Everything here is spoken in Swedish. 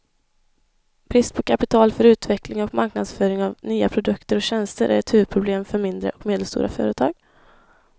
Brist på kapital för utveckling och marknadsföring av nya produkter och tjänster är ett huvudproblem för mindre och medelstora företag.